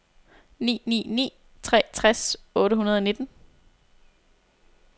ni ni ni tre tres otte hundrede og nitten